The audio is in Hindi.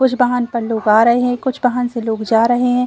कुछ बाहन पर लोग आ रहे हैं। कुछ बाहन से लोग जा रहे हैं।